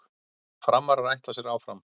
Framarar ætla sér áfram